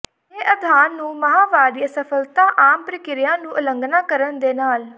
ਇਹ ਅਧਾਰ ਨੂੰ ਮਾਹਵਾਰੀ ਅਸਫਲਤਾ ਆਮ ਪ੍ਰਕਿਰਿਆ ਨੂੰ ਉਲੰਘਣਾ ਕਰਨ ਦੇ ਨਾਲ